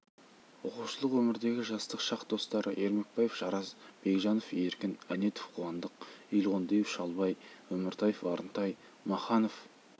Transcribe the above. оқушылық өмірдегі жастық шақ достары ермекбаев жарас бекжанов еркін әнетов қуандық елғондиев шалбай өміртаев арынтай маханов